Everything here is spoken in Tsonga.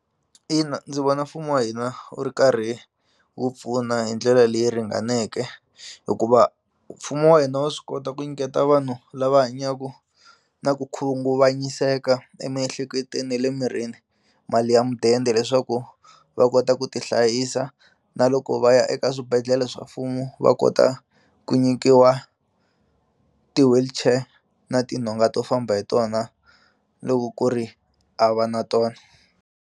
Ina ndzi vona mfumo wa hina wu ri karhi wu pfuna hi ndlela leyi ringaneke hikuva mfumo wa hina wa swi kota ku nyiketa vanhu lava hanyaku na ku khunguvanyiseka emiehleketweni ni le mirini mali ya mudende leswaku va kota ku ti hlayisa na loko va ya eka swibedhlele swa mfumo va kota ku nyikiwa ti-wheelchair na tinhonga to famba hi tona loko ku ri a va na tona.